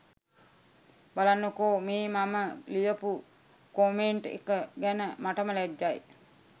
බලන්නකෝ මේ මම ලියපු කොමෙන්ට් එක ගැන මටම ලැජ්ජයි.